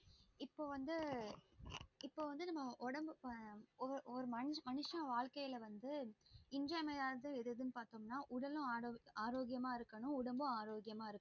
இப்ப வந்து இப்ப வந்து நம்ம ஒடம்பு ஒவ்வொரு ஒரு மனுஷ வாழ்கையில வந்து இன்றியமையாது எதுன்னு பாத்தேங்கன்னா உடலும் ஆரோக்கியமா உடம்பும் ஆரோக்கியமா இருக்கும்